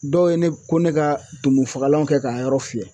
Dɔw ye ne ko ne ka tumu fagalan kɛ k'a yɔrɔ fiyɛ